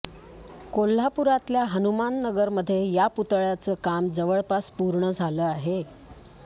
कोल्हापुरातल्या हनुमाननगरमध्ये या पुतळ्याचं काम जवळपास पूर्ण झालं आहे